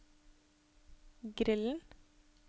grillen